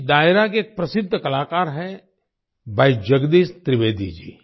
इस डायरा के एक प्रसिद्द कलाकार हैं भाई जगदीश त्रिवेदी जी